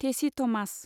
टेसि Thomas